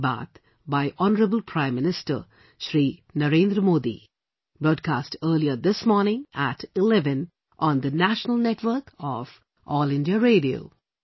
Many Many thanks